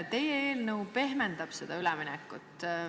Teie eelnõu eesmärk on pehmendada seda üleminekut.